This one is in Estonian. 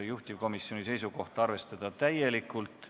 Juhtivkomisjoni seisukoht: arvestada täielikult.